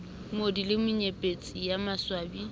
moodi le menyepetsi ye maswabi